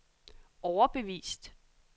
overbevist